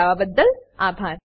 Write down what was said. જોડાવા બદલ આભાર